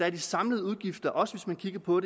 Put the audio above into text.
at de samlede udgifter også hvis man kigger på